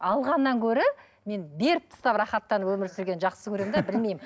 алғаннан гөрі мен беріп тастап рахаттанып өмір сүргенді жақсы көремін де білмеймін